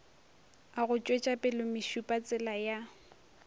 a go tšwetšapele mešupatsela ya